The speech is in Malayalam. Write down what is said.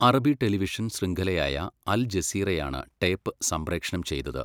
അറബി ടെലിവിഷൻ ശൃംഖലയായ അൽ ജസീറയാണ് ടേപ്പ് സംപ്രേക്ഷണം ചെയ്തത്.